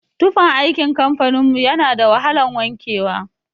Tufan aikin kamfanin mu yana da wahalan wanke wa.